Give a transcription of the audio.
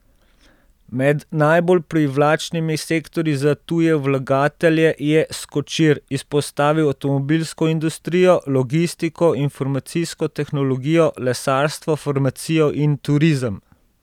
Med najbolj privlačnimi sektorji za tuje vlagatelje je Skočir izpostavil avtomobilsko industrijo, logistiko, informacijsko tehnologijo, lesarstvo, farmacijo in turizem.